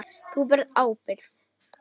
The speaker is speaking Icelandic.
Þú berð ábyrgð.